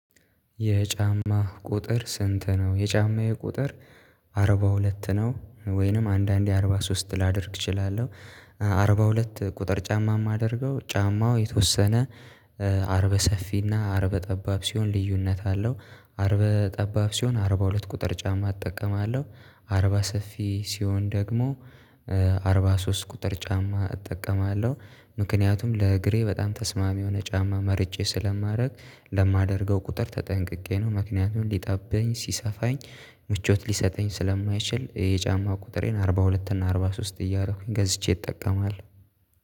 የጫማ ቁጥር ስንት? ነው የጫማዬ ቁጥር አርባ ሁለት ነው። ወይንም አንዳንዴ አርባ ሶስት ላደርግ እችላለሁ። አርባ ሁለት ቁጥር ጫማ የማደርገው ጫማው የተወሰነ አርበ ሰፊና አርበ ጠባብ ሲሆን ልዩነት አለው። አርበ ጠባብ ሲሆን አርበ ሁለት ቁጥር ጫማ እጠቀማለሁ አርባ ሰፊ ሲሆን ደግሞ አርባ ሶስት ቁጥር ጫማ እጠቀማለሁ። ምክንያቱም ለእግሬ በጣም ተስማሚ የሆነ ጫማ መርጬ ስለማደርግ ለማደርገው ቁጥር ተጠንቅቄ ነው ምክንያቱም ሊጠበኝ ሲሰፋኝ ምቾት ሊሰጠኝ ስለማይችል የጫማ ቁጥሬን አርባ ሁለት እና አርባ ሶስት እያደረኩኝ ገዝቼ እጠቀማለሁ